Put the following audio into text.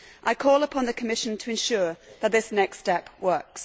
I call upon the Commission to ensure that this next step works.